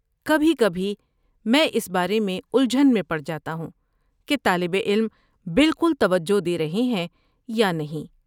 کبھی کبھی، میں اس بارے میں الجھن میں پڑ جاتا ہوں کہ طالب علم بالکل توجہ دے رہے ہیں یا نہیں۔